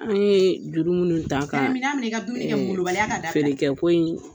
An ye juru minnu ta ka , na mina minɛ, i ka dumuni kɛ molobaliya ka dabila, fere kɛ ko in